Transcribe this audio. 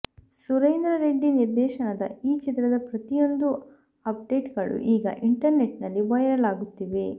ಸುರೇಂದ್ರ ರೆಡ್ಡಿ ನಿರ್ದೇಶನದ ಈ ಚಿತ್ರದ ಪ್ರತಿಯೊಂದು ಅಪ್ಡೇಟ್ಗಳು ಈಗ ಇಂಟರ್ ನೆಟ್ ನಲ್ಲಿ ವೈರಲ್ ಆಗುತ್ತಿವೆ